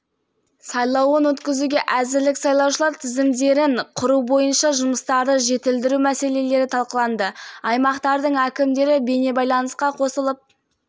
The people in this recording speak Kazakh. маңызды шараға дайындық барысын пысықтады бұл шараны барынша жоғары деңгейде өткізу үшін халықаралық тәжірибені енгізу